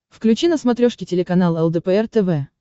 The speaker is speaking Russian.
включи на смотрешке телеканал лдпр тв